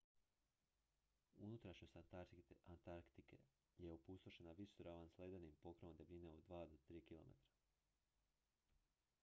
unutrašnjost antarktike je opustošena visoravan s ledenim pokrovom debljine od 2-3 km